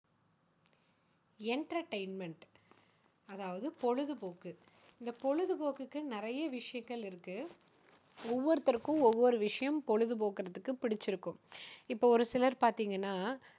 entertainment. அதாவது பொழுதுபோக்கு. இந்த பொழுது போக்குக்கு நிறைய விஷயங்கள் இருக்கு. ஒவ்வொருத்தருக்கும் ஒவ்வொரு விஷயம் பொழுதுபோக்குறதுக்கு பிடிச்சுருக்கும். இப்போ ஒரு சிலர் பாத்தீங்கன்னா